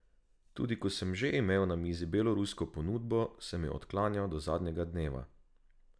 Tudi ko sem že imel na mizi belorusko ponudbo, sem jo odklanjal do zadnjega dneva.